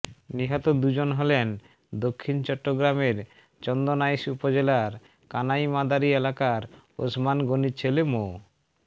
নিহত দুজন হলেন দক্ষিণ চট্টগ্রামের চন্দনাইশ উপজেলার কানাই মাদারী এলাকার ওসমান গনির ছেলে মো